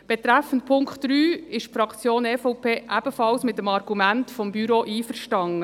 Betreffend Punkt 3 ist die Fraktion EVP mit dem Argument des Büros ebenfalls einverstanden.